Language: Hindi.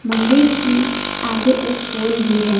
मंदिर की आगे एक पोल भी है।